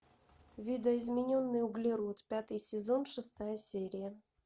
видоизмененный углерод пятый сезон шестая серия